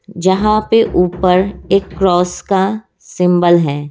जहाँ पे ऊपर एक क्रॉस का सिम्ब्ल है।